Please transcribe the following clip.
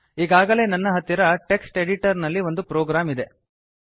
ಈಗಾಗಲೇ ನನ್ನ ಹತ್ತಿರ ಟೆಕ್ಸ್ಟ್ ಎಡಿಟರ್ ನಲ್ಲಿ ಒಂದು ಪ್ರೋಗ್ರಾಮ್ ಇದೆ